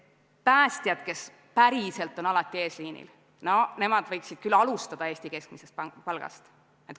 Päästjad, kes päriselt on alati eesliinil, nemad võiksid alustada Eesti keskmisest palgast.